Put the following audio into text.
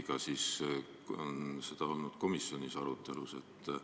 Vahest on seda ka komisjonis arutatud?